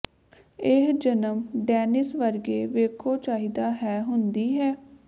ਇਹ ਜਨਮ ਡੇਨਿਸ ਵਰਗੇ ਵੇਖੋ ਚਾਹੀਦਾ ਹੈ ਹੁੰਦੀ ਹੈ